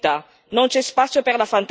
Non c'è spazio per la fantasia.